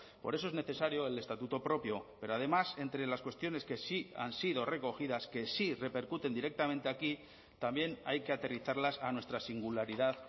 por eso es necesario el estatuto propio pero además entre las cuestiones que sí han sido recogidas que sí repercuten directamente aquí también hay que aterrizarlas a nuestra singularidad